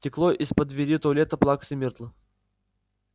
текло из-под двери туалета плаксы миртл